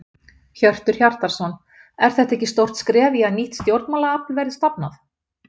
Hjörtur Hjartarson: Er þetta ekki stórt skref í að nýtt stjórnmálaafl verði stofnað?